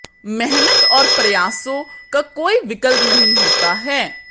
मेहनत और प्रयासों का कोई विकल्प नहीं होता है